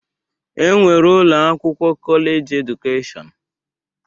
E nwere ụlọakwụkwọ kọlejị edụkeshọn.